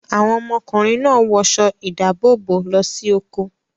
Àwọn ọmọkùnrin náà wọṣọ ìdáàbòbò lọ sí oko.